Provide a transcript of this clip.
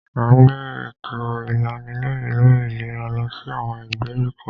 À ń gbé èto ìlanilọ́yẹ̀ lórí ìlera lọ sí àwọn ìgbèríko.